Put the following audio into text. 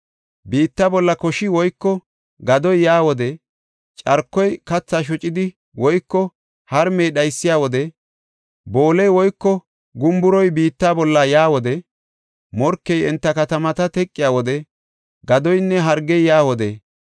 “Biitta bolla koshi woyko gadoy yaa wode, carkoy kathaa shocidi woyko harmey dhaysiya wode, booley woyko gumburoy biitta bolla yaa wode, morkey enta katamata teqiya wode, gadoynne hargey yaa wode,